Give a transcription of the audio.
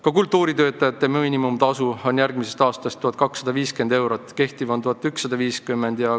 Ka kultuuritöötajate miinimumtasu on järgmisest aastast 1250 eurot praeguse 1150 euro asemel.